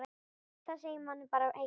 Það segir manni bara eitt.